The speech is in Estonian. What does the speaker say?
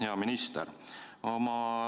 Hea minister!